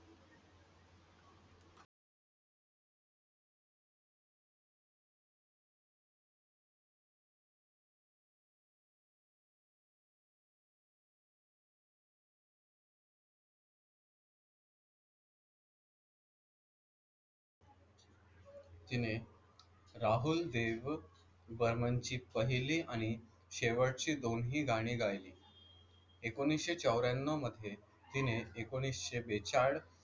तिने राहुल देव बर्मनची पहिली आणि शेवटची दोन्ही गाणी गायली. एकोणीसशे चौऱ्याण्णव मध्ये, तिने एकोणीसशे बेचाळ,